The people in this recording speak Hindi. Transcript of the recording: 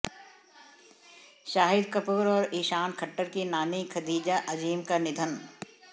शाहिद कपूर और ईशान खट्टर की नानी खदीजा अजीम का निधन